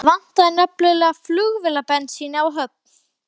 Fakírarnir staðfestu undirskrift hans með nafni sínu og starfsheiti.